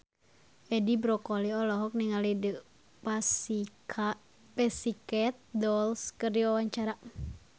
Edi Brokoli olohok ningali The Pussycat Dolls keur diwawancara